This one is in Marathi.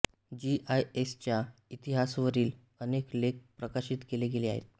जीआयएसच्या इतिहासावरील अनेक लेख प्रकाशित केले गेले आहेत